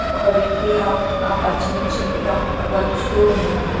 ఒక వ్యక్తి అ ఆ పచ్చిమిర్చిని తొక్ వలుస్తూ ఉన్నారు.